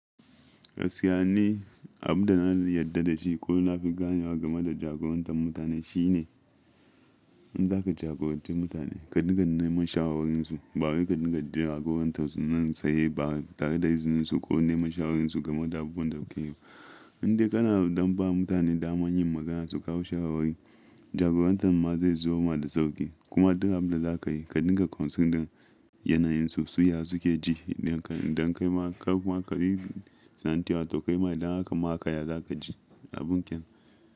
Agasjiya ni, abin da na yarda da shi ko na fi gane game da jagorantar mutane shi ne in za ka jagoranci mutane, ka dinga neman shawararsu. Ba kai ka dinga jagorantar su nan sai ba tare da izinsu ko neman shawararsu game da abubuwan da kuke yi ba. Indai kana dan ba mutane daman yin magana su kawo shawara, jagorantar ma zai zubo ma da sauƙi. Kuma dukan abin da za ka yi, ka dinga considern ɗin yanayin su, su yaya suke ji, inda kai ma ka kuma ka yi tsanantewa ta kai ma inda aka ma ka yaya za ka ji a bunƙin.